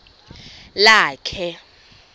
lakhe